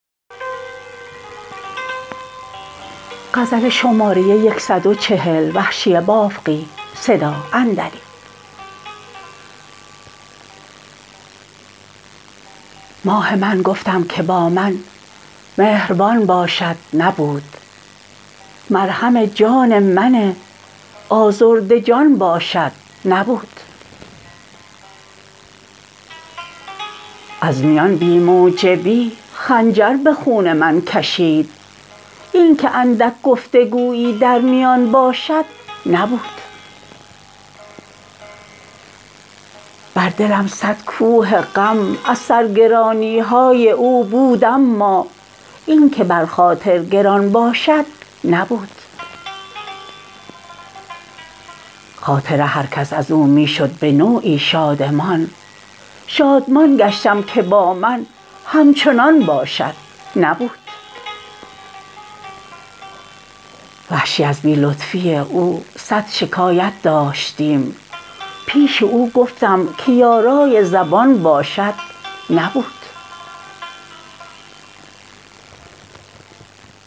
ماه من گفتم که با من مهربان باشد نبود مرهم جان من آزرده جان باشد نبود از میان بی موجبی خنجر به خون من کشید اینکه اندک گفتگویی در میان باشد نبود بر دلم سد کوه غم از سرگرانیهای او بود اما اینکه بر خاطر گران باشد نبود خاطر هرکس ازو می شد به نوعی شادمان شادمان گشتم که با من همچنان باشد نبود وحشی از بی لطفی او صد شکایت داشتیم پیش او گفتم که یارای زبان باشد نبود